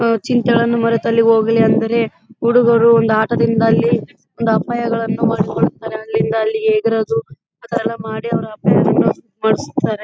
ಮರೆತ್ತಲ್ಲಿ ಹೋಗಲಿ ಅಂದರೆ ಹುಡುಗರು ಒಂದು ಆಟದಿಂದ ಅಲ್ಲಿಒಂದು ಅಪಾಯಗಳನ್ನು ಅಲ್ಲಿಂದಲ್ಲಿಗೆ ಇದರದು ಅದೆಲ್ಲಾ ಮಾಡಿ ಅವ್ರು ಅಪಾಯವನ್ನು --